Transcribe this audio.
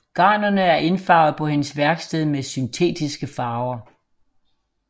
Garnerne er indfarvet på hendes værksted med syntetiske farver